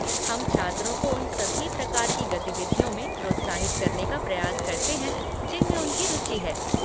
हम छात्रों को उन सभी प्रकार की गतिविधियों में प्रोत्साहित करने का प्रयास करते हैं जिनमें उनकी रुचि है।